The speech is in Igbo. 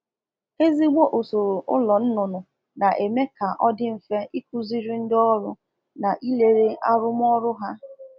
Usoro ọzụzụ ọkụkọ e mere nke ọma na eme ka nleba anya omume ngosi n'akwa ọzụzụ ndị na elekọta ụmụ na elekọta ụmụ ọkụkọ dị mfe